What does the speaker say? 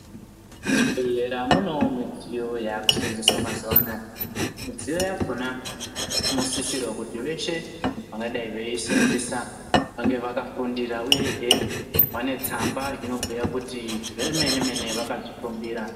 Muzvibhedhlera muno midziyo yakusenzeswa mazuvanaya. Midziyo yakhona inosisirwa kuti veshe vakadayi veyisenzisa vange vakafundira, uyehe vanetsamba inobuya kuti zvemene mene vakazvifundira.